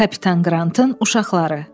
Kapitan Qrantın uşaqları.